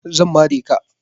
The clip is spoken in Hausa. Zan mare ka.